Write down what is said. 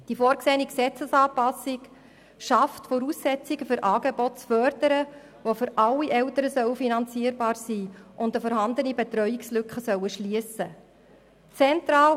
Die vorgesehene Gesetzesanpassung schafft Voraussetzungen, Angebote zu fördern, die für alle Eltern finanzierbar sein sollen und die eine bestehende Betreuungslücke schliessen sollen.